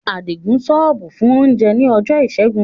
Adigun ṣọ́ọ̀bù fún oúnjẹ ní ọjọ́ Ìṣẹ́gun.